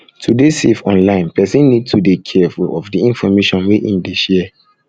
to dey safe online person need to dey careful of di information wey im dey share